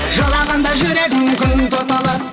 жылағанда жүрегім күн тұтылып